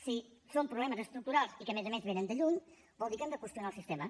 si són problemes estructurals i que a més a més venen de lluny vol dir que hem de qüestionar el sistema